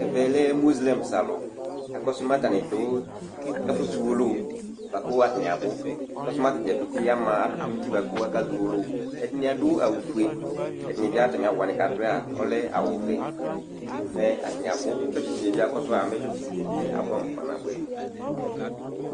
Ɛvɛ lɛ mozelɛms alʋ Akɔsʋ mɛ atanɩ dʋ ɛfʋzɔ uwolowu bʋa kʋ atanɩ abʋ Akɔsʋ mɛ ata dza pete ama adʋkʋ nʋ uti bʋa kʋ akazɔ uwolowu Ɛdɩnɩ adʋ awʋfue, ɛdɩnɩ bɩ atamɩ awʋ wanɩ kʋ adʋ a, ɔlɛ awʋvɛ, atanɩ abʋ Tsɔtsɩdini yɛ bɩ akɔsʋ a, mɛ tsɔtsɩdini yɛ bɩ abʋɛamʋ kpanabʋɛ